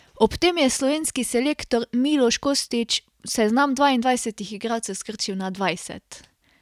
Ob tem je slovenski selektor Miloš Kostić seznam dvaindvajsetih igralcev skrčil na dvajset.